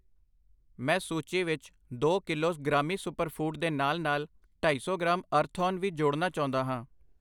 ਮੈਂ ਸੂਚੀ ਵਿੱਚ ਦੋ ਕਿਲੋਜ਼ ਗ੍ਰਾਮੀ ਸੁਪਰ ਫੂਡ ਦੇ ਨਾਲ ਨਾਲ ਢਾਈ ਸੌ ਗ੍ਰਾਮ ਅਰਥੋਨ ਵੀ ਜੋੜਨਾ ਚਾਉਂਦਾ ਹਾਂ I